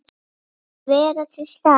Að vera til staðar.